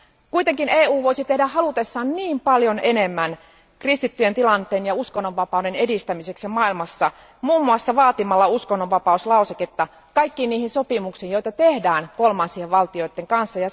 Kuitenkin EU voisi tehdä halutessaan niin paljon enemmän kristittyjen tilanteen ja uskonnonvapauden edistämiseksi maailmassa muun muassa vaatimalla uskonnonvapauslauseketta kaikkiin niihin sopimuksiin, joita tehdään kolmansien valtioiden kanssa.